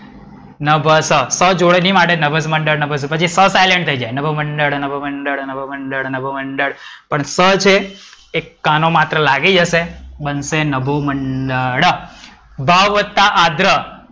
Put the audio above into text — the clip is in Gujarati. ન ભ સ જોડણી માટે નભસ મંડળ નભસ પછી સ silent થઈ જાય નભ મંડળ નભ મંડળ નભ મંડળ. પણ સ છે એ કાનો માત્ર લાગી જશે બનશે નભમંડળ. ભાવ વત્તા આગ્રહ.